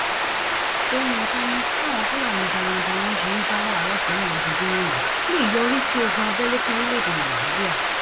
sọyìnkà ni báwọn fúlàní darandaran ṣe ń dá wàhálà sílẹ lójoojúmọ yìí lè yọrí sí ogun abẹlé fún orílẹèdè nàíjíríà